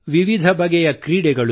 ವಿವಿಧ ಬಗೆಯ ಕ್ರೀಡೆಗಳು